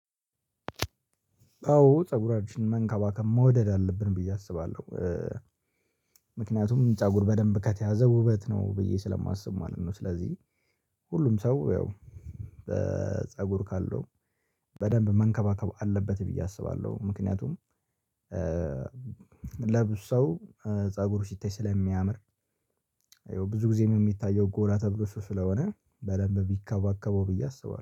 አዎ ፀጉራችን መንከባከብ መውደድ አለብን ብዬ አስባለሁ። ምክንያቱም ፀጉር በደንብ ከተያዘ ውበት ነው ብዬ ስለማስብ ማለት ነው። ስለዚህ ሁሉም ሰው ያው ፀጉር ካለው በደንብ መንከባከብ አለበት ብዬ አስባለሁ። ምክንያቱም ለብዙ ሰው ፀጉሩ ሲታይ ስለሚያምር፤ ያው ብዙ ጊዜ የሚታየው ጎራ ተብሎ እርሱ ስለሆነ በደንብ ቢከባከበው ብዬ አስባለሁ።